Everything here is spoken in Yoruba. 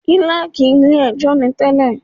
Kílákì ilé ẹjọ́ ni tẹ́lẹ̀.